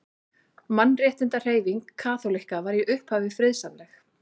Mannréttindahreyfing kaþólikka var í upphafi friðsamleg.